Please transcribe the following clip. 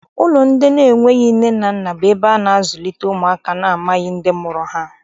Ụlọ ndị enweghị nne na nna bụ ebe a na-azụlite ụmụaka ndị amaghị ndị mụrụ ha.